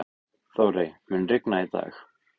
Þórey, mun rigna í dag?